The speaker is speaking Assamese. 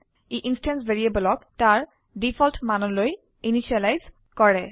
ই ইনস্ট্যান্স ভ্যাৰিয়েবলক তাৰ ডিফল্ট মানলৈ ইনিসিয়েলাইজ কৰে